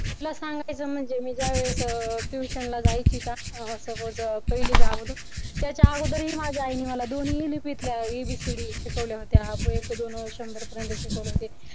तुला सांगायचं म्हणजे मी ज्यावेळेस tuition ला जायची अह समजा पहिली च्या अगोदर त्याच्या अगोदर आईने मला दोन लिपीतल्या ABCD शिकवल्या होत्या. एक, दोन शंभर पर्यंत शिकवले होते.